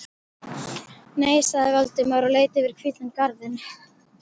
Nei- sagði Valdimar og leit yfir hvítan garðinn.